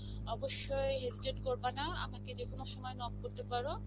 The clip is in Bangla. অবশ্যই hesitate করবা না. আমাকে যেকোনো সময়ে knock করতে পারো.